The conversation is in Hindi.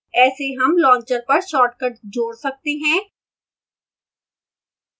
ऐसे हम launcher पर shortcuts जोड़ सकते हैं